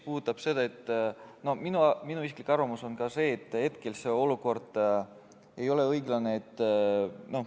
Aga minu isiklik arvamus on ka see, et hetkel ei ole olukord õiglane.